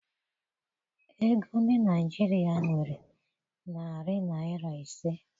Ego ndị Naịjirịa nwere narị naịra ise.